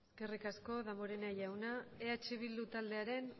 eskerrik asko damborenea jauna eh bildu taldearen